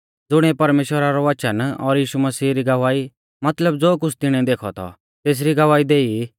ज़ुणिऐ परमेश्‍वरा रौ वचन और यीशु मसीह री गवाही मतलब ज़ो कुछ़ तिणिऐ देखौ थौ तेसरी गवाही देई